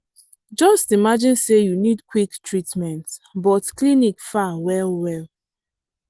just imagine say you need quick treatment but clinic far well well.